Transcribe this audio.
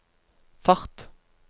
fart